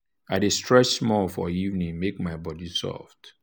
i dey stretch small for evening make my body soft.